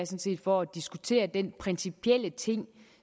set for at diskutere den principielle ting